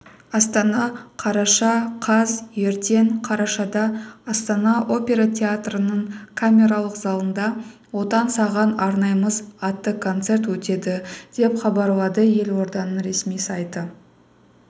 астана қараша қаз ертең қарашада астана опера театрының камералық залында отан саған арнаймыз атты концерт өтеді деп хабарлады елорданың ресми сайты